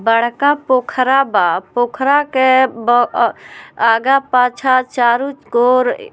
बरका पोखरा बा पोखरा के ब अ आगे पाछा चारो कोर --